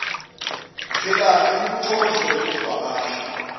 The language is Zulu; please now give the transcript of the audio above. ndlelanhle nikuthokozele ukuvakasha